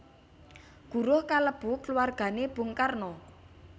Guruh kalebu kluwargané Bung Karno